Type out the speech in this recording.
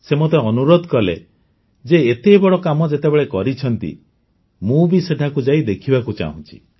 ସେ ମୋତେ ଅନୁରୋଧ କଲେ ଯେ ଏତେ ବଡ଼ କାମ ଯେତେବେଳେ କରିଛନ୍ତି ମୁଁ ବି ସେଠାକୁ ଯାଇ ଦେଖିବାକୁ ଚାହୁଁଛି